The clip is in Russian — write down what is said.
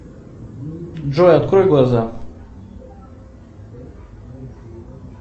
джой открой глаза